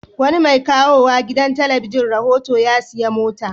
Wani mai kawo wa gidan talabijin rahoto ya sayi mota.